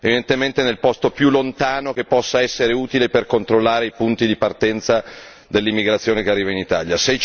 Evidentemente nel posto più lontano che possa essere utile per controllare i punti di partenza dell'immigrazione che arriva in Italia.